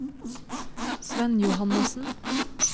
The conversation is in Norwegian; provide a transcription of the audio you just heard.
Svenn Johannessen